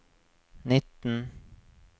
nitten